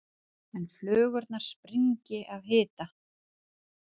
en flugurnar springi af hita.